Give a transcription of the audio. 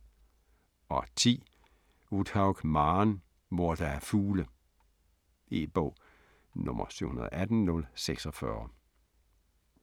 10. Uthaug, Maren: Hvor der er fugle E-bog 718046